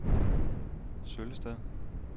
Søllested